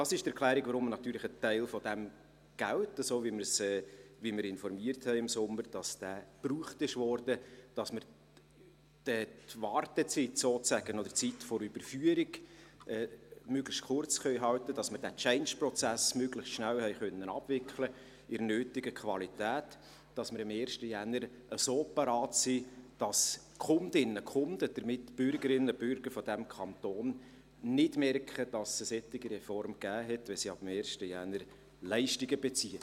Dies ist die Erklärung, warum ein Teil des Geldes, so wie wir im Sommer informierten, gebraucht wurde – damit wir die Wartezeit sozusagen oder die Zeit der Überführung möglichst kurz halten können, damit wir diesen Change Prozess möglichst schnell in der nötigen Qualität abwickeln konnten, sodass wir am 1. Januar so bereit sind, dass die Kundinnen/Kunden, die Mitbürgerinnen/bürger dieses Kantons nicht merken, dass es eine solche Reform gab, wenn sie ab dem 1. Januar Leistungen beziehen.